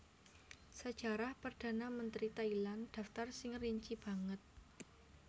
Sajarah Perdhana Mentri Thailand dhaptar sing rinci banget